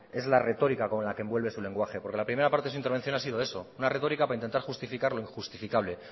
es la retórica con la que envuelve su lenguaje la primera parte de su intervención ha sido eso una retórica para intentar justificar lo injustificable